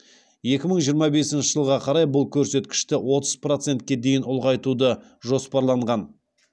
екі мың жиырма бесінші жылға қарай бұл көрсеткішті отыз процентке дейін ұлғайтуды жоспарланған